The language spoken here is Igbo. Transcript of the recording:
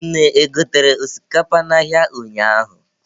Nne e gotere osikapa n'ahịa ụnyaahụ?